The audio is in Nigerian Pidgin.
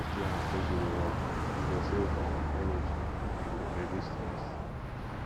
use two hands take do the work e go save um energy and e go reduce stress